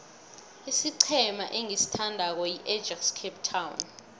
isiqhema engisithandako yiajax cape town